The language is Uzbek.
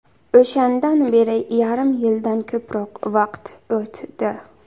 O‘shandan beri yarim yildan ko‘proq vaqt o‘tdi.